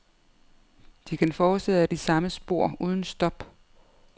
De kan fortsætte ad de samme spor uden stop.